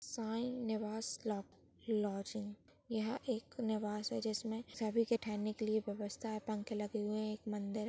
साई निवास लॉ लॉजिंग यह एक निवास है जिसमे सभी के ठेहरने के लिए व्यवस्था है पंखे लगे हुए है। एक मंदिर--